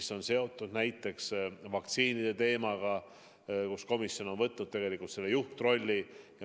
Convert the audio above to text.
See on seotud näiteks vaktsiinide teemaga, milles komisjon on võtnud juhtrolli.